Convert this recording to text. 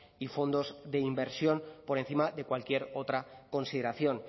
y fondos de inversión por encima de cualquier otra consideración